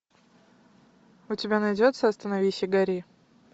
у тебя найдется остановись и гори